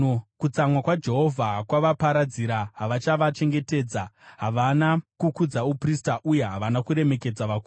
Kutsamwa kwaJehovha kwavaparadzira; haachavachengetedza. Havana kukudza uprista, uye havana kuremekedza vakuru.